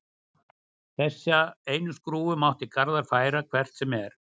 Þessa einu skrúfu mátti Garðar færa hvert sem er.